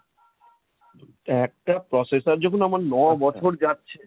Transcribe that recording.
তো একটা processor যখন আমার ন বছর যাচ্ছে,